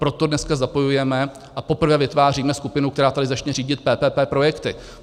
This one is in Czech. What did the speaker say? Proto dneska zapojujeme a poprvé vytváříme skupinu, která tady začne řídit PPP projekty.